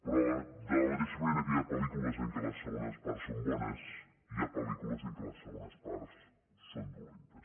però de la mateixa manera que hi ha pel·lícules en què les segones parts són bones hi ha pel·lícules en què les segones parts són dolentes